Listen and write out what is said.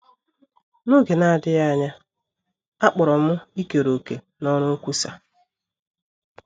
N’oge na - adịghị anya, a kpọrọ m ikere òkè n’ọrụ nkwusa.